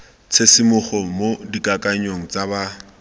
tshisimogo mo dikakanyong tsa ba